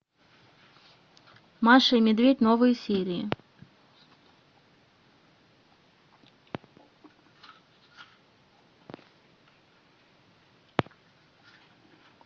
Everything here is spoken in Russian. маша и медведь новые серии